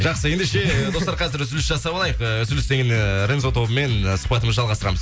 жақсы ендеше достар қазір үзіліс жасап алайық э үзілістен кейін э рензо тобымен сұхбатымызды жалғастырамыз